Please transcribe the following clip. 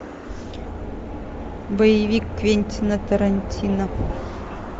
боевик квентина тарантино